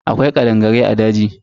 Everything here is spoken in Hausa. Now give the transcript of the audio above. Akwai kadangarai a daji.